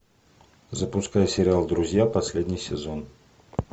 запускай сериал друзья последний сезон